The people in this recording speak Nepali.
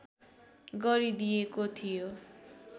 गरिदिएको थियो